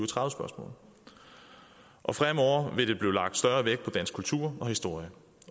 tredive spørgsmål og fremover vil der blive lagt større vægt på dansk kultur og historie